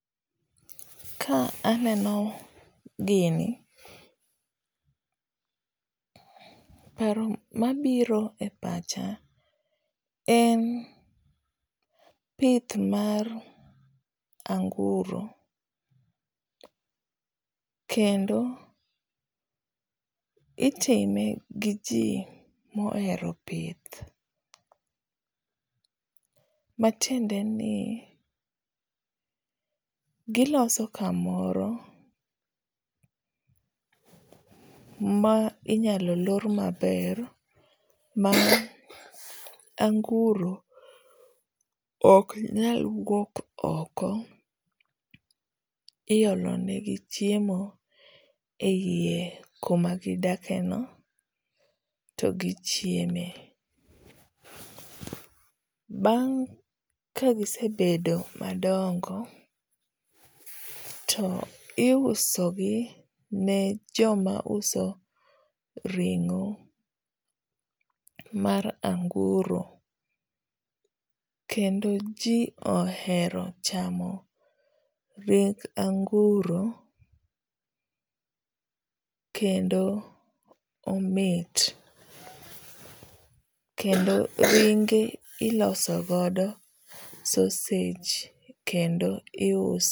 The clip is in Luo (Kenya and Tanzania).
Ka aneno gini, paro mabiro e pacha en pith mar anguro. Kendo itime gi ji mohero pith. Matiende ni giloso kamoro ma inyalo lor maber ma anguro ok nyal wuok oko. Iolo ne gi chiemo eie kama gidake no to gichiemo. Bang' ka gisedoko madongo, to iuso gi ne joma uso ringó mar anguro, kendo ji ohero chamo ring anguro kendo omit. Kendo ringe iloso godo sausage kendo iuso.